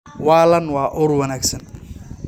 Waalan waa ur wanaagsan.